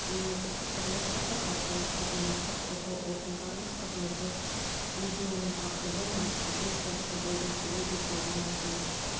мемлекеттік қызмет атап айтқанда азаматтық қорғау органдарының қызметі видеоның тақырыбы мен сіздер сияқты болғым келеді жылдың маусымы